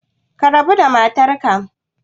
Ka rabu da matarka